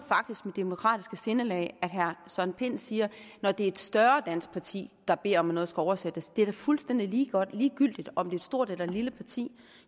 demokratiske sindelag herre søren pind siger når det er et større dansk parti der beder om at noget skal oversættes det er da fuldstændig ligegyldigt om et stort eller et lille parti